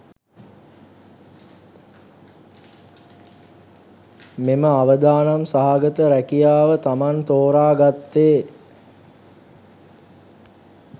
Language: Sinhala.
මෙම අවදානම් සහගත රැකියාව තමන් තෝරා ගත්තේ